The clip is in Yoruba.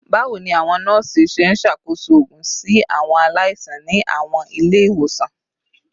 Bawo ni awọn nọọsi ṣe nṣakoso oogun si awọn alaisan ni awọn ile-iwosan?